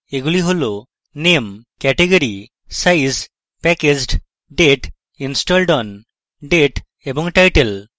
এগুলি হল name category size packaged date installed on date এবং title